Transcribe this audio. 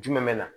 Jumɛn bɛ na